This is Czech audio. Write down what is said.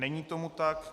Není tomu tak.